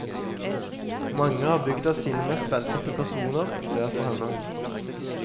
Mange av bygda sine mest velsette personar ber for henne.